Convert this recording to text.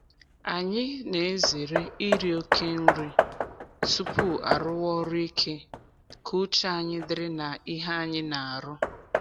Anyị na-ezere iri oke nri tupu arụwa ọrụ ike ka uche anyị dịrị na ihe anyị n'arụ.